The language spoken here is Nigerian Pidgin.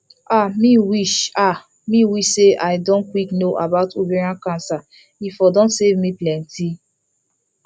ah me wish ah me wish say i don quick know about ovarian cancer e for don save me plenty